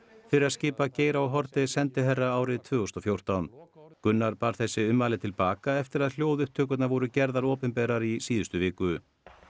fyrir að skipa Geir h Haarde sendiherra árið tvö þúsund og fjórtán Gunnar bar þessi ummæli til baka eftir að hljóðupptökurnar voru gerðar opinberar í síðustu viku